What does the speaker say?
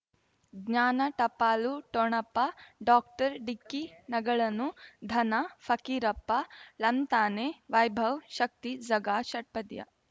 ಜ್ಞಾನ ಟಪಾಲು ಠೊಣಪ ಡಾಕ್ಟರ್ ಢಿಕ್ಕಿ ಣಗಳನು ಧನ ಫಕೀರಪ್ಪ ಳಂತಾನೆ ವೈಭವ್ ಶಕ್ತಿ ಝಗಾ ಷಟ್ಪದಿಯ